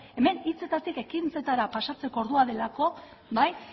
hemen hitzetatik ekintzetara pasatzeko ordua delako bai